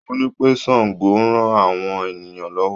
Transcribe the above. Ó ní pé Sango ran àwọn ènìyàn lọ́wọ́.